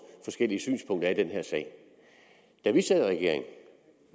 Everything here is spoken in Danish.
forskellige synspunkter er i den her sag da vi sad i regering